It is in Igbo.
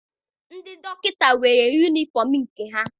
Ndị dọkịta nwere yunifọm nke ha.